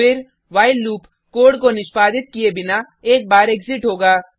फिर while loop code को निष्पादित किये बिना एक बार एग्जिट होगा